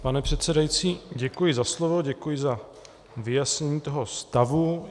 Pane předsedající, děkuji za slovo, děkuji za vyjasnění toho stavu.